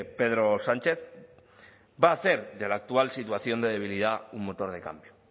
pedro sánchez va a hacer de la actual situación de debilidad un motor de cambio